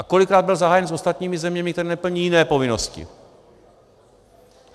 A kolikrát byl zahájen s ostatními zeměmi, které neplní jiné povinnosti?